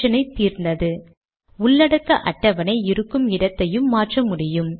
செய்வது போல வெற்று பட்டியலை கொண்டு தடுக்க முடியும்